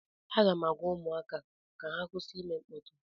Aga m agwa ụmụaka ka ha kwụsị ịme mkpọtụ